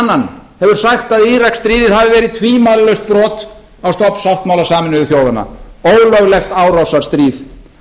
annan hefur sagt að íraksstríðið hafi verið tvímælalaust brot á stofnsáttmála sameinuðu þjóðanna ólöglegt árásarstríð